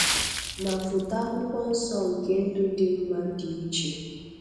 Ma foto Akwụkwọ Nsọ nke "ndụ dị mma" dị iche.